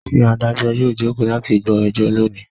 Ṣé Adájọ́ yóò jókòó láti gbọ́ ẹjọ́ lónìí?